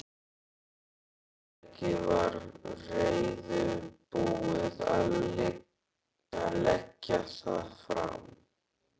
Fyrirtækið væri reiðubúið að leggja það fram.